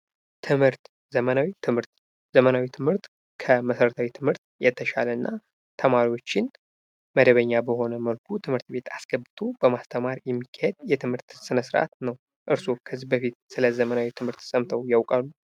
ትምህርት ዘመናዊ ትምህርት፤ ዘመናዊ ትምህርት ከመሰረታዊ ትምህርት የተሻለ እና ተማሪዎችን መደበኛ በሆነ መልኩ ትምህርት ቤት አስገብቶ በማስተማር የሚካሄድ የትምህርት ስነስርአት ነው። እርሶ ከዚህ በፊት ስለዘመናዊ ትምህርት ሰምተው ያውቃሉ?